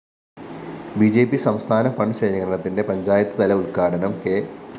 B J P സംസ്ഥാന fund ശേഖരണത്തിന്റെ പഞ്ചായത്ത്തല ഉദ്ഘാടനം കെ